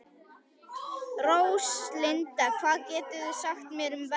Róslinda, hvað geturðu sagt mér um veðrið?